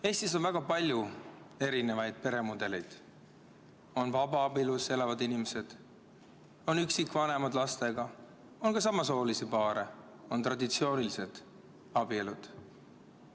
Eestis on väga palju erinevaid peremudeleid: on vabaabielus elavad inimesed, on üksikvanemad lastega, on ka samasoolisi paare, on traditsioonilised abielud.